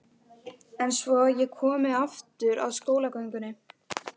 En svo ég komi aftur að skólagöngunni.